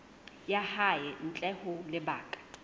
ya hae ntle ho lebaka